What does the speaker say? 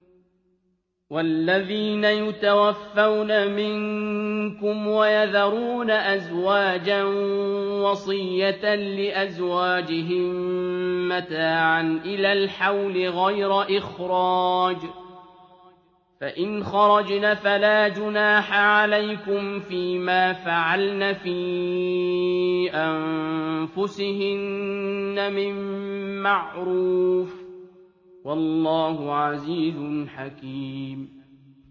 وَالَّذِينَ يُتَوَفَّوْنَ مِنكُمْ وَيَذَرُونَ أَزْوَاجًا وَصِيَّةً لِّأَزْوَاجِهِم مَّتَاعًا إِلَى الْحَوْلِ غَيْرَ إِخْرَاجٍ ۚ فَإِنْ خَرَجْنَ فَلَا جُنَاحَ عَلَيْكُمْ فِي مَا فَعَلْنَ فِي أَنفُسِهِنَّ مِن مَّعْرُوفٍ ۗ وَاللَّهُ عَزِيزٌ حَكِيمٌ